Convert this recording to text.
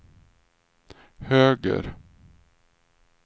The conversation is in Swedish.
höger